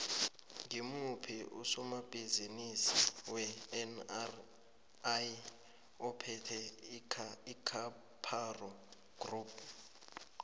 ngimuphi usomabhizimisi wenri ophethe icaparo group